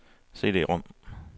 CD-rom